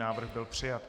Návrh byl přijat.